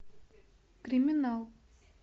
криминал